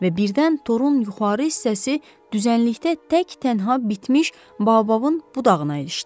və birdən torun yuxarı hissəsi düzənlikdə tək-tənha bitmiş baobabın budağına ilişdi.